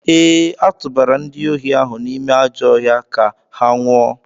Ee, a tụbara ndị ohi ahụ n’ime ajọ ọhịa ka ha nwụọ.